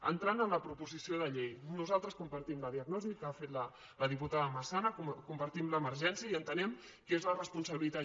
entrant en la proposició de llei nosaltres compartim la diagnosi que ha fet la diputada massana compartim l’emergència i entenem que és de responsabilitat